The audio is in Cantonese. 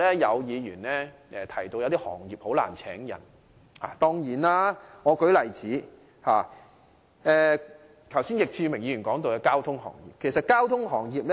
有議員提到某些行業難以聘請人手，例如易志明議員剛才提及的交通行業。